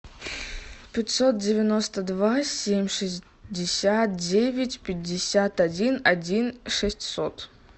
пятьсот девяносто два семь шестьдесят девять пятьдесят один один шестьсот